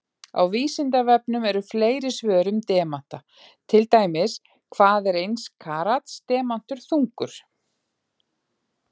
Á Vísindavefnum eru fleiri svör um demanta, til dæmis: Hvað er eins karats demantur þungur?